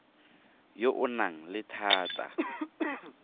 yo o nang le thata